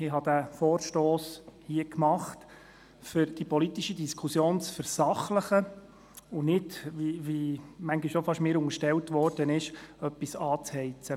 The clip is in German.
Ich habe diesen Vorstoss eingereicht, um die politische Diskussion zu versachlichen, und nicht, wie mir manchmal beinahe unterstellt wurde, um etwas anzuheizen.